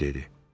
Harvi dedi.